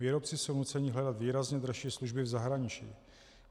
Výrobci jsou nuceni hledat výrazně dražší služby v zahraničí.